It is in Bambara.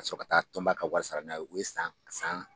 Ka sɔrɔ ka taa tɔnoba ka wari sara n'a ye, u ye san san